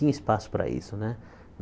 Tinha espaço para isso, né?